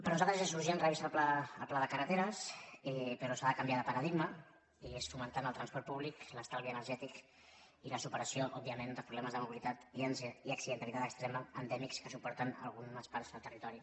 per nosaltres és urgent revisar el pla de carreteres però s’ha de canviar de paradigma i és fomentar el transport públic l’estalvi energètic i la superació òbviament de problemes de mobilitat i accidentalitat extrema endèmics que suporten algunes parts del territori